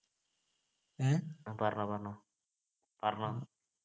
ആ പറഞ്ഞോ പറഞ്ഞോ പറഞ്ഞോ